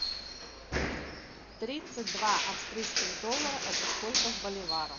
тридцать два австрийских доллара это сколько в боливарах